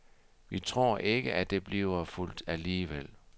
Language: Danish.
Vi tror ikke, at det bliver fulgt alligevel.